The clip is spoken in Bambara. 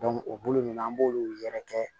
o bolo nunnu an b'olu yɛrɛ kɛ